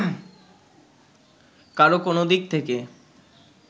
কারো কোনদিক থেকে